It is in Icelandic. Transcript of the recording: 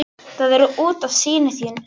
Það er út af syni þínum.